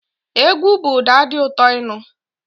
Egwu bu ụda di ụtó ịnụ.